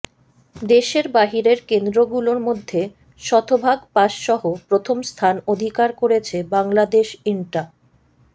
দেশের বাহিরের কেন্দ্রগুলোর মধ্যে শতভাগ পাস সহ প্রথম স্থান অধিকার করেছে বাংলাদেশ ইন্টা